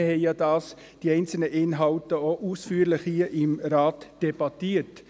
Wir debattierten die einzelnen Inhalte hier im Rat ausführlich.